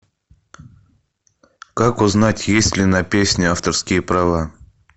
как узнать есть ли на песне авторские права